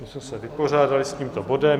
Tím jsme se vypořádali s tímto bodem.